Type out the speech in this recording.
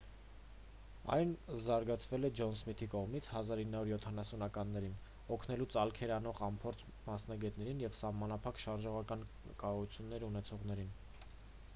այն զարգացվել է ջոն սմիթի կողմից 1970-ականներին օգնելու ծալքեր անող անփորձ մասնագետներին և սահմանափակ շարժողական կարողություններ ունեցողներին